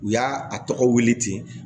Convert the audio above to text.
U y'a a tɔgɔ wele ten